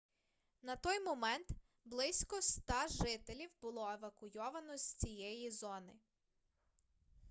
на той момент близько 100 жителів було евакуйовано з цієї зони